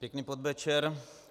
Pěkný podvečer.